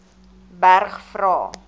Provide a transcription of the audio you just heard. berg vra